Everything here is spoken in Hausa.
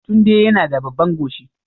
Tunde yana da babban goshi